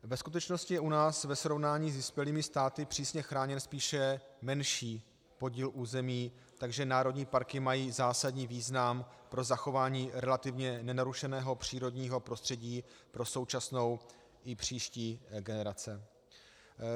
Ve skutečnosti je u nás ve srovnání s vyspělými státy přísně chráněn spíše menší podíl území, takže národní parky mají zásadní význam pro zachování relativně nenarušeného přírodního prostředí pro současnou i příští generace.